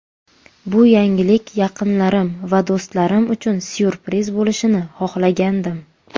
Bu yangilik yaqinlarim va do‘stlarim uchun syurpriz bo‘lishini xohlagandim.